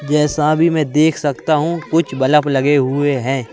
जैसा भी मैं देख सकता हूं कुछ बलफ लगे हुए हैं।